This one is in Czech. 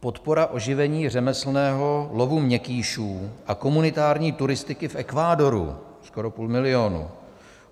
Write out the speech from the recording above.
Podpora oživení řemeslného lovu měkkýšů a komunitární turistiky v Ekvádoru - skoro půl milionu.